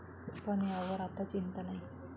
पण यावर आता चिंता नाही.